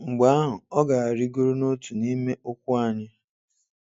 Mgbe ahụ, ọ ga-arịgoro n'otu n'ime ụkwụ anyị.